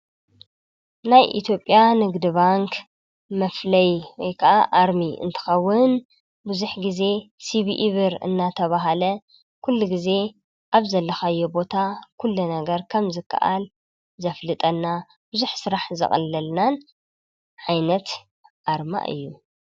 ናይ እትዮጵያ ንግድ ባንክ መፍለይ ወይ ከዓ አርሚ እንትኸውን ቡዙሕ ግዜ ሲቪኢ ብር እናተበሃለ ኩሉ ግዜ አብ ዘለኻዮ ቦታ ኩሉ ነገር ከም ዝከኣል ዘፍልጠና ብዙሕ ስራሕ ዘቅልለልናን ዓይነት አርማ እዩ።